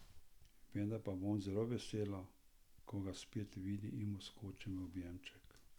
Vendar pa bom zelo vesela, ko ga spet vidim in mu skočim v objemček.